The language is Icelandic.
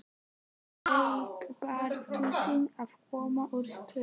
Bleiki Pardusinn að koma úr sturtu!